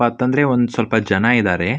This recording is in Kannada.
ಪಥ್ ಅಂದ್ರೆ ಒಂದ್ ಸ್ವಲ್ಪ ಜನ ಇದ್ದಾರೆ.